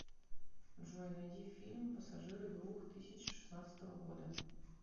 джой найди фильм пассажиры двух тысячи шестнадцатого года